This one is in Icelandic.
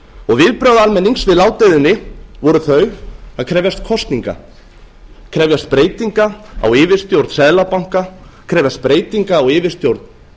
viðbrögð almennings við ládeyðunni voru þau að krefjast kosninga krefjast breytinga á yfirstjórn seðlabanka krefjast breytinga á yfirstjórn